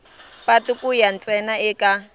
patu ku ya ntsena eka